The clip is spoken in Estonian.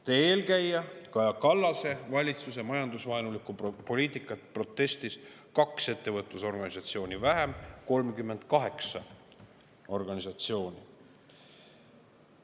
Teie eelkäija Kaja Kallase valitsuse majandusvaenulikku poliitikat protestis kaks ettevõtlusorganisatsiooni vähem, 38 organisatsiooni.